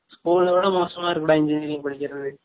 school ஓட மோசமா இருக்கு டா engineering படிக்ரது